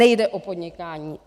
Nejde o podnikání.